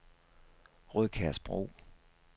Rødkærsbro